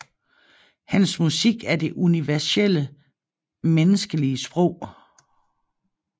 Hans musik er det universelle menneskelige sprog